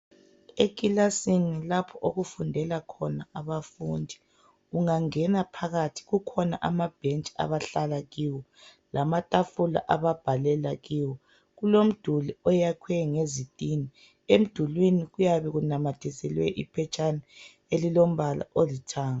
Ekilasini lapho okufundela khona abafundi ungangena phakathi kukhona amabhentshi abahlala kiwo lamatafula ababhalela kiwo. Kulomduli oyakhiwe ngezitina, emdulini kuyabe kunamathiselwe iphetshana elilombala olithanga.